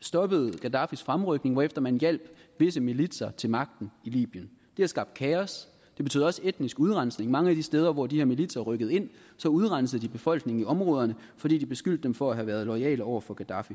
stoppede gaddafis fremrykning hvorefter man hjalp visse militser til magten i libyen det har skabt kaos det betød også etnisk udrensning mange af de steder hvor de her militser rykkede ind udrensede de befolkningen i områderne fordi de beskyldte dem for at have været loyale over for gaddafi